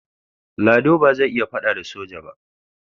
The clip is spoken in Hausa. Lado ba zai iya faɗa da soja ba.